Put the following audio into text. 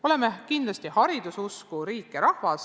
Oleme kindlasti hariduse usku riik ja rahvas.